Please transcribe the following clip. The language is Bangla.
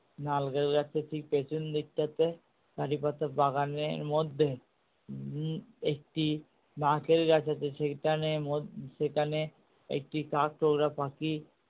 নারকেল গাছটার ঠিক পেছন দিকটাতে কারিপাতা বাগানের মধ্যে উম একটি নারকেল গাছ আছে সেখানে সেখানে একটি কাঠ ঠোকরা পাখি